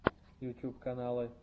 ютьюб каналы